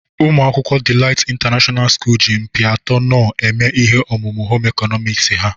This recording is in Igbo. Umuakwukwo Delight International school ji mkpịatọ knorr eme ihe omume Home ịkọnọmiks ha.